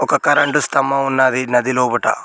ఓ current స్తంభం ఉన్నది నదిలోబట.